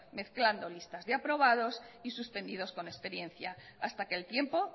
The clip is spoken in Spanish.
mezclando lista de aprobados y suspendidos con experiencia hasta que el tiempo